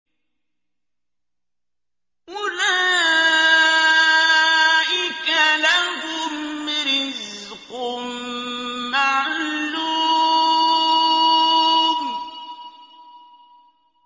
أُولَٰئِكَ لَهُمْ رِزْقٌ مَّعْلُومٌ